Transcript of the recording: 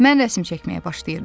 Mən rəsm çəkməyə başlayırdım.